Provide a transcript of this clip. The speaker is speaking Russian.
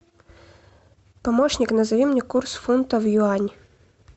помощник назови мне курс фунта в юани